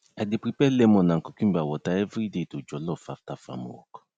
i dey prepare lemon and cucumber water everyday to jollof after farm work